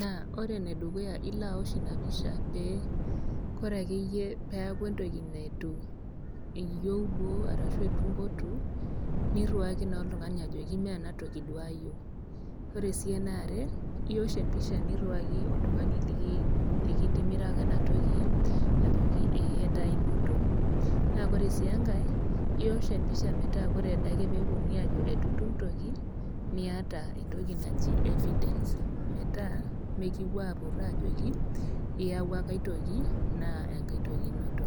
naa ore ene dukuya naa ilaosh ina pisha pee kore ake iyie peaku entoki neitu iyou duo arashu eitu impotu, niriwaki naa oltung'ani ajoki meena toki duo ayieu. Kore sii ene are, iosh empisha niriwaki oltung'ani likitimiraka ena toki ajoki ee etaa ainoto, naa ore sii enkai iosh empisha metaa ore ade ake pee eponuni aajo eitu itum toki, niata entoki naji evidence metaa mekiwuoi apur ajoki, iyauwa kai toki, naa enkai toki inoto.